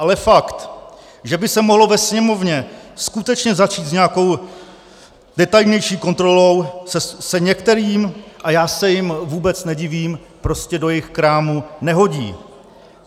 Ale fakt, že by se mohlo ve Sněmovně skutečně začít s nějakou detailnější kontrolou, se některým, a já se jim vůbec nedivím, prostě do jejich krámu nehodí.